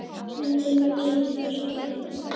Myndin verður sýnd á sunnudaginn.